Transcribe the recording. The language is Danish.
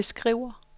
beskriver